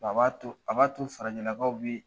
A b'a to a b'a to farajɛlakaw bɛ